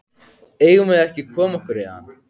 Eigum við ekki að koma okkur héðan?